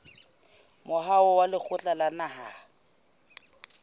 moahong wa lekgotla la naha